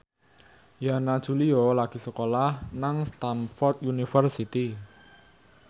Yana Julio lagi sekolah nang Stamford University